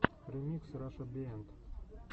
ремикс раша биенд